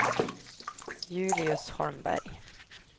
Julius Holmberg